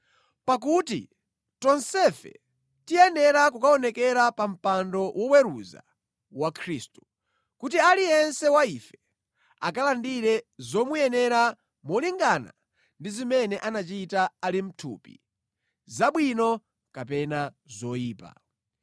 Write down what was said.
Pakuti tonsefe tiyenera kukaonekera pa mpando woweruza wa Khristu, kuti aliyense wa ife akalandire zomuyenera molingana ndi zimene anachita ali mʼthupi; zabwino kapena zoyipa.